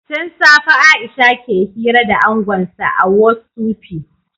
Tun safe Aisha ke hira da angonsa a Whotsupi